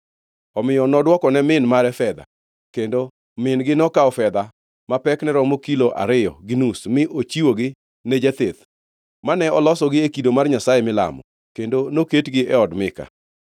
Omiyo nodwokone min mare fedha, kendo min-gi nokawo fedha ma pekne romo kilo ariyo gi nus mi ochiwogi ne jatheth, mane olosogi e kido mar nyasaye milamo. Kendo noketgi e od Mika.